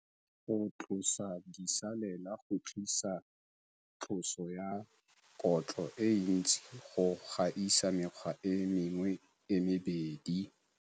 Go tlosa disalela go tlisa tloso ya kotlo e ntsi go gaisa mekgwa e mengwe e mebedi.